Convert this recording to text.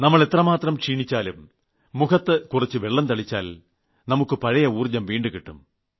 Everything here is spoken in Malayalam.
നമ്മൾ എത്രമാത്രം ക്ഷീണിച്ചാലും മുഖത്ത് കുറച്ചു വെള്ളം തളിച്ചാൽ നമുക്ക് പഴയ ഊർജ്ജം വീണ്ടുകിട്ടും